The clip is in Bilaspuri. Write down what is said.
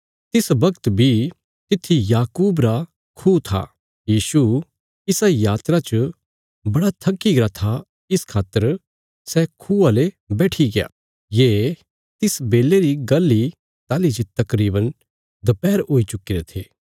कने याकूबे सै जे खूह बणाया था सै हुण तक तिसा इ जगह पर था यीशु पैदल चलीचलीने थक्की गरा था इस खातर सै आईने खूआ ले इयां इ बैठिग्या ये तिस बेले री गल्ल इ ताहली जे तकरीवन दपैहर हुई चुक्कीरे थे